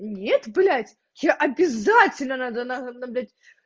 нет блядь я обязательно надо на на блядь